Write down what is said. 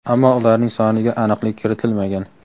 ammo ularning soniga aniqlik kiritilmagan.